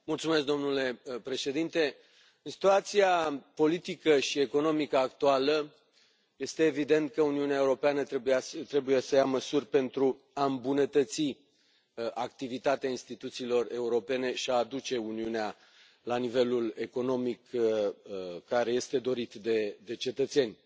Domnule președinte, în situația politică și economică actuală este evident că Uniunea Europeană trebuie să ia măsuri pentru a îmbunătății activitatea instituțiilor europene și a aduce Uniunea la nivelul economic care este dorit de cetățeni.